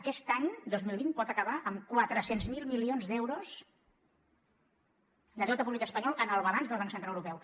aquest any dos mil vint pot acabar amb quatre cents miler milions d’euros de deute públic espanyol en el balanç del banc central europeu